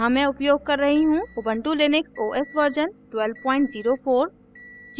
यहाँ मैं उपयोग कर रही हूँ उबन्टु लिनक्स os version 1204